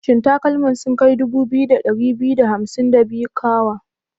Shin takalman sun kai 2252 kawa?